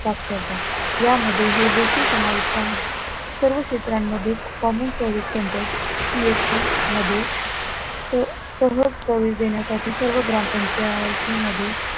साक्षरता या मध्ये हे देखील समाविष्ट आहे, सर्व क्षेत्रांमध्ये common service center CSC मध्ये सह सहज service देण्यासाठी सर्व ग्रामपंचायती मध्ये